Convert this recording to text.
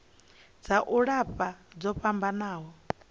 dza u lafha dzo fhambanaho